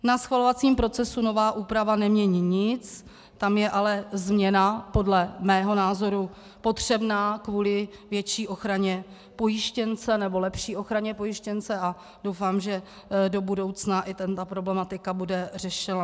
Na schvalovacím procesu nová úprava nemění nic, tam je ale změna podle mého názoru potřebná kvůli větší ochraně pojištěnce, nebo lepší ochraně pojištěnce, a doufám, že do budoucna i tato problematika bude řešena.